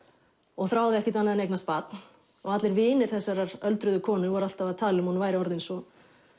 og þráði ekkert annað en eignast barn allir vinir þessarar öldruðu konu voru alltaf að tala um að hún væri orðin svo